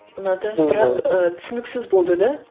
ұнады бірақ ы түсініксіз болды да